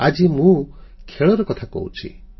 ଆଜି ମୁଁ ଖେଳର କଥା କହୁଛି